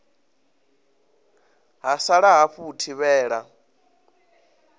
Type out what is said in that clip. ha sala hafu u thivhela